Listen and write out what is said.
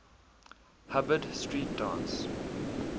hubbard street dance